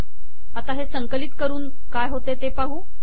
आता हे संकलित करून काय होते ते पाहू